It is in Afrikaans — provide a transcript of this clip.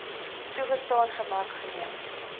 toegestaan gemaak geneem